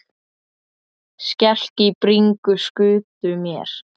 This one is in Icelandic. Skelk í bringu skutu mér.